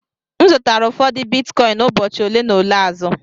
M zụtara ụfọdụ Bitcoin ụbọchị ole na ole azụ.